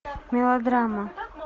мелодрама